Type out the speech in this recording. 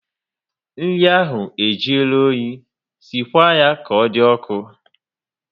Nri ahụ e juola oyi, sikwa ya ka ọ dị ọkụ